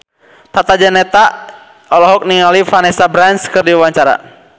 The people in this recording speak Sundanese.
Tata Janeta olohok ningali Vanessa Branch keur diwawancara